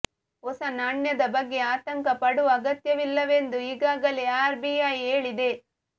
ಹೊಸ ನಾಣ್ಯದ ಬಗ್ಗೆ ಆತಂಕ ಪಡುವ ಅಗತ್ಯವಿಲ್ಲವೆಂದು ಈಗಾಗಲೇ ಆರ್ ಬಿ ಐ ಹೇಳಿದೆ